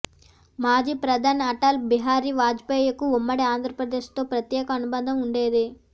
మాజీ ప్రధాని అటల్ బిహారీ వాజ్పేయికి ఉమ్మడి ఆంధ్రప్రదేశ్తో ప్రత్యేక అనుబంధం ఉండేది